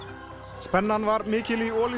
spennan var mikil í Olís